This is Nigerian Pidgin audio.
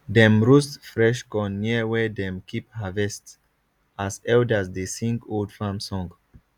dem roast fresh corn near where dem keep harvest as elders dey sing old farm song